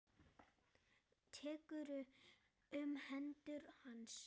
Tekur um hendur hans.